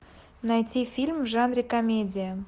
найти фильм в жанре комедия